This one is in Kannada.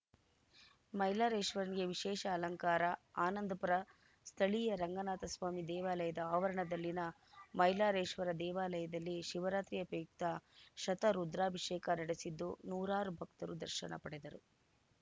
ಮೈಲಾರೇಶ್ವರನಿಗೆ ವಿಶೇಷ ಅಲಂಕಾರ ಆನಂದಪುರ ಸ್ಥಳೀಯ ರಂಗನಾಥ ಸ್ವಾಮಿ ದೇವಾಲಯದ ಆವರಣದಲ್ಲಿನ ಮೈಲಾರೇಶ್ವರ ದೇವಾಲಯದಲ್ಲಿ ಶಿವರಾತ್ರಿಯ ಪ್ರಯುಕ್ತ ಶತ ರುದ್ರಾಭಿಷೇಕ ನಡೆಸಿದ್ದು ನೂರಾರು ಭಕ್ತರು ದರ್ಶನ ಪಡೆದರು